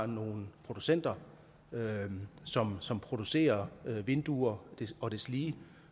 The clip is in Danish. nogle producenter som som producerer vinduer og deslige